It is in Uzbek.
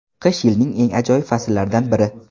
Qish yilning eng ajoyib fasllaridan biri.